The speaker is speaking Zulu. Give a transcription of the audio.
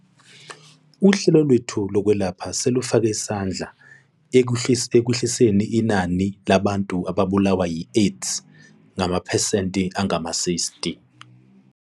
Uhlelo lwethu lokwelapha selufake isandla ekwehliseniinani labantu ababulawa yiAIDS ngamaphesenti angama-60.